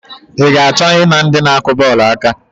I ga-achọ I na ndị na-akụ bọọlụ aka?